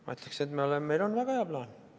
Ma ütleksin, et meil on väga hea plaan.